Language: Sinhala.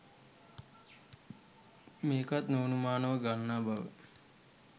මේකත් නො අනුමානවම ගන්නා බව